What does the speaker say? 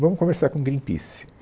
Vamos conversar com o Greenpeace.